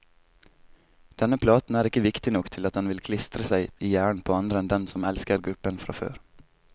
Denne platen er ikke viktig nok til at den vil klistre seg i hjernen på andre enn dem som elsker gruppen fra før.